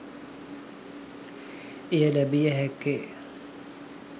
එය ලැබිය හැක්කේ